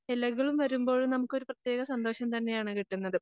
ഇലകൾ വരുമ്പോഴും നമുക്കൊരു പ്രത്യേക സന്തോഷം തന്നെയാണ് കിട്ടുന്നത്.